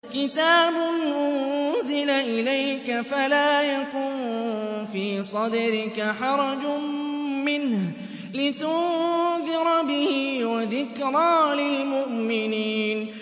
كِتَابٌ أُنزِلَ إِلَيْكَ فَلَا يَكُن فِي صَدْرِكَ حَرَجٌ مِّنْهُ لِتُنذِرَ بِهِ وَذِكْرَىٰ لِلْمُؤْمِنِينَ